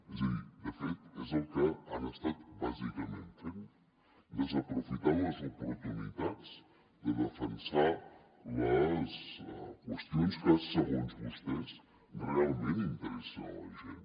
és a dir de fet és el que han estat bàsicament fent desaprofitant les oportunitats de defensar les qüestions que segons vostès realment interessen a la gent